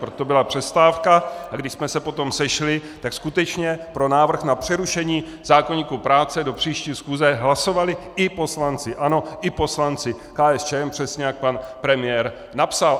Proto byla přestávka, a když jsme se potom sešli, tak skutečně pro návrh na přerušení zákoníku práce do příští schůze hlasovali i poslanci ANO i poslanci KSČM, přesně jak pan premiér napsal.